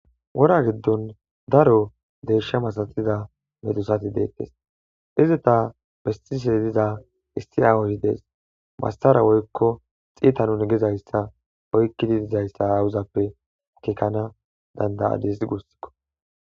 wora giddon daro dershe masatida medusati deekkes izeta bestise diza isti aawozides masara woykko xiitanun gezayssa hoykkidi dizayssa aawuzappe akekana danda7adis gussikko